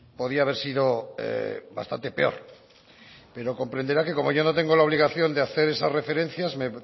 podía haber sido bastante peor pero comprenderá que como yo no tengo la obligación de hacer esas referencias me